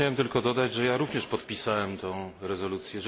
Ja chciałem tylko dodać, że ja również podpisałem tę rezolucję.